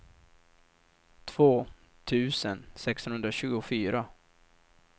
två tusen sexhundratjugofyra